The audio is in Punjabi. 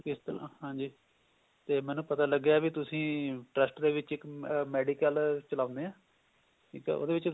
ਤੇ ਮੈਨੂੰ ਪਤਾ ਲੱਗਿਆ ਵੀ ਤੁਸੀਂ trust ਦੇ ਵਿੱਚ ਇੱਕ medical ਚਲਾਉਂਦੇ ਆ ਇੱਕ ਉਹਦੇ ਵਿੱਚ